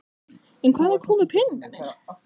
En hvaðan komu peningarnir?